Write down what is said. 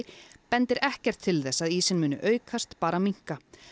bendir ekkert til þess að ísinn muni aukast bara minnka